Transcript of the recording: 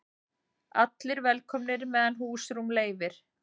Allir velkomnir meðan húsrúm leyfir